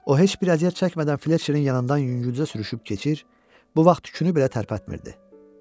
O heç bir əziyyət çəkmədən Fletçerin yanından yüngülcə sürüşüb keçir, bu vaxt tüyünü belə tərpətmirdi.